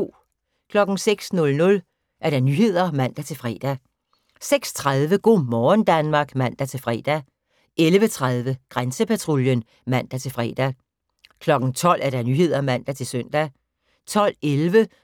06:00: Nyhederne (man-fre) 06:30: Go' morgen Danmark (man-fre) 11:30: Grænsepatruljen (man-fre) 12:00: Nyhederne (man-søn) 12:11: